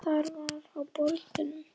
Þar var á borðum